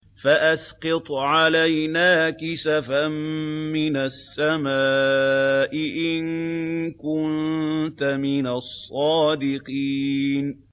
فَأَسْقِطْ عَلَيْنَا كِسَفًا مِّنَ السَّمَاءِ إِن كُنتَ مِنَ الصَّادِقِينَ